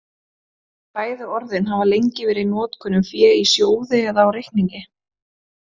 Bæði orðin hafa lengi verið í notkun um fé í sjóði eða á reikningi.